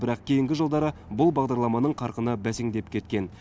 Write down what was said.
бірақ кейінгі жылдары бұл бағдарламаның қарқыны бәсеңдеп кеткен